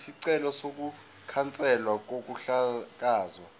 isicelo sokukhanselwa kokuhlakazwa